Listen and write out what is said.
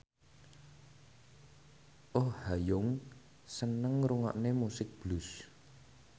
Oh Ha Young seneng ngrungokne musik blues